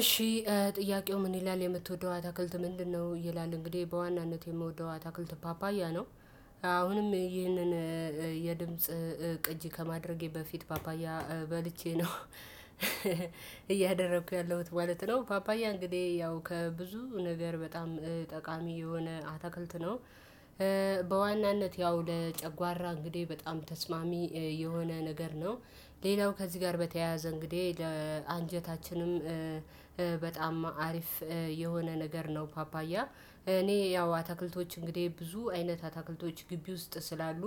እሺ ጥያቄው ምን ይላል የምትወደው አታክልት ምንድነው? ይላል እንግዲህ በዋናነት የምወደው አታክልት ፓፓያ ነው። አሁንም ይህንን የድምጽ ቅጂ ከማድረጌ በፊት ፓፓያ በልቼ ነው እያደረኩ ያለሁት ማለት ነው። ፓፓያ እንግዲህ ያው ከብዙ ነገር በጣም ጠቃሚ የሆነ አታክልት ነው። በዋናነት ያው ለጨጓራ እንግዲህ በጣም ተስማሚ የሆነ ነገር ነው። ሌላው ከዚህ ጋር በተያያዘ እንግዲህ ለአንጀታችንም በጣም አሪፍ የሆነ ነገር ነው። ፓፓያ እኔ ያው አትክልቶች እንግዲህ ብዙ አይነት አትክልቶች ግቢ ውስጥ ስላሉ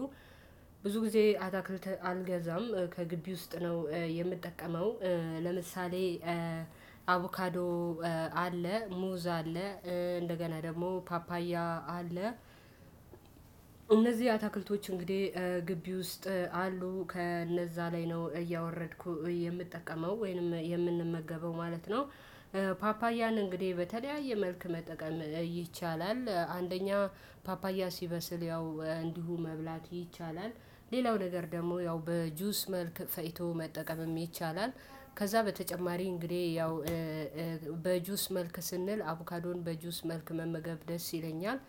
ብዙ ጊዜ አታክልት አልገዛም ከግቢ ውስጥ ነው የምጠቀመው። ለምሳሌ አቮካዶ አለ ሙዝ አለ እንደገና ደግሞ ፓፓያ አለ። እነዚህ አትክልቶች እንግዲህ ግቢ ውስጥ አሉ ከነዛ ላይ ነው እያወረድኩ የምጠቀመው ወይንም የምንመገበው ማለት ነው። ፓፓያን እንግዲህ በተለያየ መልክ መጠቀም ይቻላል። አንደኛ ፓፓያ ሲበስል ያው እንዲሁ መብላት ይቻላል። ሌላው ነገር ደግሞ ያው በጁስ መልክ ፈጭቶ መጠቀምም ይቻላል። ከዛ በተጨማሪ እንግዲህ ያው በጁስ መልክ ስንል አቮካዶን በጁስ መልክ መመገብ ደስ ይለኛል።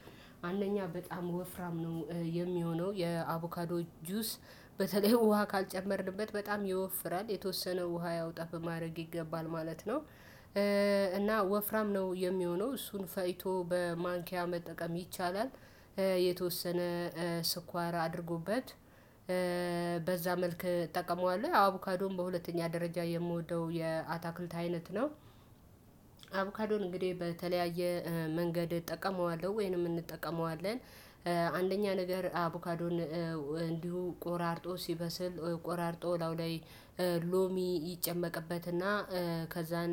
አንደኛ በጣም ወፍራም ነው የሚሆነው የአቮካዶ ጁስ በተለይ ውሃ ካልጨመርንበት በጣም ይወፍራል የተወሰነ ውሃ ያወጣል በማድረግ ይገባል ማለት ነው። እና ወፍራም ነው የሚሆነው እሱን ፈጭቶ በማንኪያ መጠቀም ይቻላል። የተወሰነ ስኳር አድርጎበት በዛ መልክ እጠቀመዋለሁ። ያው አቡካዶን በሁለተኛ ደረጃ የምወደው የአታክልት አይነት ነው። አብካዶን እንግዲህ በተለያየ መንገድ እጠቀመዋለሁ ወይንም እንጠቀመዋለን። አንደኛ ነገር አቡካዶን እንዲሁ ቆራርጦ ሲበስል ቆራርጦ ላው ላይ ሎሚ ይጨመቅበትና ከዛን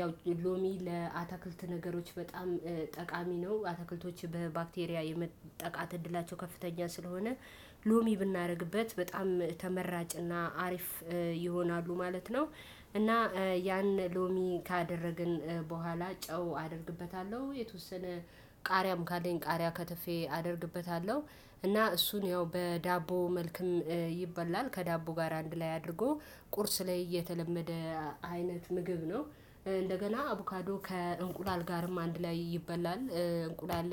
ያው ሎሚ ለአታክልት ነገሮች በጣም ጠቃሚ ነው አታክልቶች በባክቴሪያ የመጠቃት እድላቸው ከፍተኛ ስለሆነ ሎሚ ብናደርግበት በጣም ተመራጭና አሪፍ ይሆናሉ ማለት ነው። እና ያን ሎሚ ካደረግን በኋላ ጨው አደርግበታለሁ የተወሰነ ቃሪያም ካለኝ ቃሪያ ከትፌ አደርግበታለሁ እና እሱን ያው በዳቦ መልክም ይበላል ከዳቦ ጋር አንድ ላይ አድርጎ ቁርስ ላይ እየተለመደ አይነት ምግብ ነው። እንደገና አቡካዶ ከእንቁላል ጋርም አንድ ላይ ይበላል እንቁላል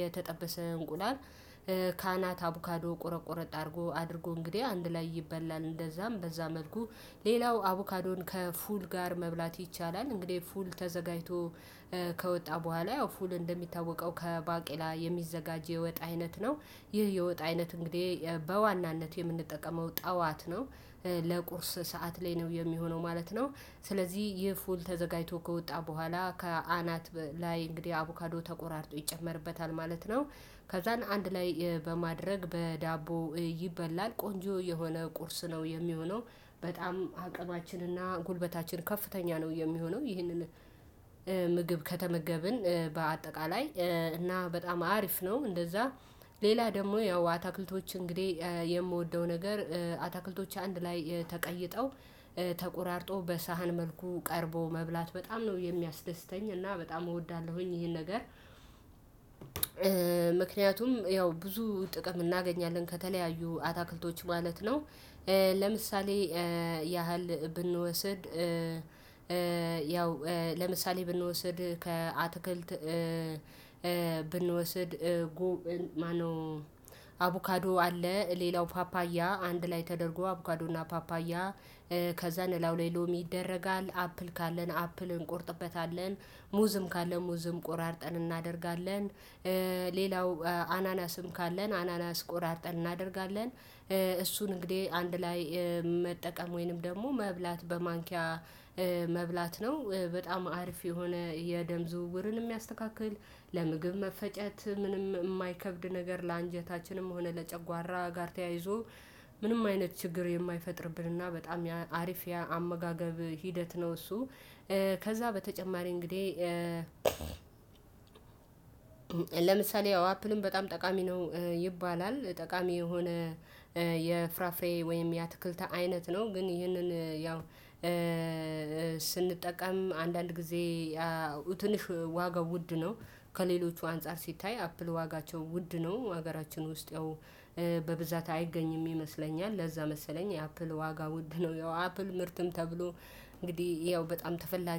የተጠበሰ እንቁላል ካናት አቡካዶ ቁረጥቁረጥ አድርጎ አድርጎ እንግዲህ አንድ ላይ ይበላል እንደዛም በዛ መልኩ ሌላው አቮካዶን ከፉል ጋር መብላት ይቻላል። እንግዲህ ፉል ተዘጋጅቶ ከወጣ በኋላ ያው ፉል እንደሚታወቀው ከባቄላ የሚዘጋጅ የወጣ አይነት ነው። ይህ የወጣ አይነት እንግዲህ በዋናነት የምንጠቀመው ጠዋት ነው ለቁርስ ሰዓት ላይ ነው የሚሆነው ማለት ነው። ስለዚህ ይህ ፉል ተዘጋጅቶ ከወጣ በኋላ ከአናት ላይ እንግዲህ አቮካዶ ተቆራርጦ ይጨመርበታል ማለት ነው። ከዛን አንድ ላይ በማድረግ በዳቦ ይበላል ቆንጆ የሆነ ቁርስ ነው የሚሆነው። በጣም አቅማችንና ጉልበታችን ከፍተኛ ነው የሚሆነው ይህንን ምግብ ከተመገብን በአጠቃላይ እና በጣም አሪፍ ነው። እንደዛ ሌላ ደግሞ ያው አታክልቶች እንግዲህ የምወደው ነገር አታክልቶች አንድ ላይ ተቀይጠው ተቆራርጦ በሳህን መልኩ ቀርቦ መብላት በጣም ነው የሚያስደስተኝ እና በጣም እወዳለሁኝ ይሄን ነገር። ምክንያቱም ያው ብዙ ጥቅም እናገኛለን ከተለያዩ አታክልቶች ማለት ነው። ለምሳሌ ያህል ብንወስድ ያው ለምሳሌ ብንወስድ ከአትክልት ብንወስድ አቡካዶ አለ ሌላው ፓፓያ አንድ ላይ ተደርጎ አቦካዶና ፓፓያ ከዛን ላው ላይ ሎሚ ይደረጋል አፕል ካለን አፕል እንቆርጥበታለን። ሙዝም ካለ ሙዝም ቆራርጠን እናደርጋለን። ሌላው አናናስም ካለን አናናስ ቆራርጠን እናደርጋለን። እሱን እንግዲህ አንድ ላይ መጠቀም ወይንም ደግሞ መብላት በማንኪያ መብላት ነው። በጣም አሪፍ የሆነ የደም ዝውውርን የሚያስተካክል ለምግብ መፈጨት ምንም የማይከብድ ነገር ለአንጀታችንም ሆነ ለጨጓራ ጋር ተያይዞ ምንም አይነት ችግር የማይፈጥርብንና በጣም አሪፍ ያ አመጋገብ ሂደት ነው እሱ። ከዛ በተጨማሪ እንግዲህ ለምሳሌ ያው አፕንም በጣም ጠቃሚ ነው ይባላል ጠቃሚ የሆነ የፍራፍሬ ወይም የአትክልት አይነት ነው። ግን ይህንን ያው ስንጠቀም አንዳንድ ጊዜ ያው ትንሽ ዋጋው ውድ ነው። ከሌሎቹ አንፃር ሲታይ አፕል ዋጋቸው ውድ ነው ሀገራችን ውስጥ ያው በብዛት አይገኝም ይመስለኛል። ለዛ መሰለኝ የአፕል ዋጋ ውድ ነው ያው አፕል ምርትም ተብሎ እንግዲህ ያው በጣም ተፈላጊ